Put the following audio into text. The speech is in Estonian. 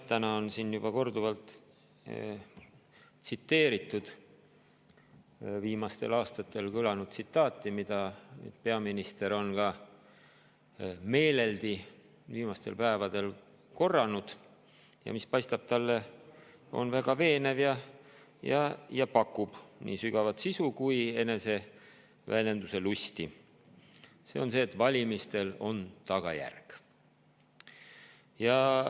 Täna on siin juba korduvalt tsiteeritud viimasel kõlanud tsitaati, mida ka peaminister on viimastel päevadel meeleldi korranud ja mis paistab talle väga veenev, pakub sügavat sisu ja ka eneseväljenduse lusti – see on see, et valimistel on tagajärg.